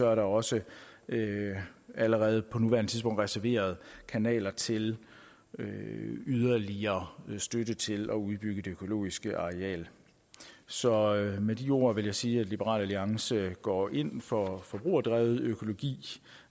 er der også allerede på nuværende tidspunkt reserveret kanaler til yderligere støtte til at udbygge det økologiske areal så med de ord vil jeg sige at liberal alliance går ind for forbrugerdrevet økologi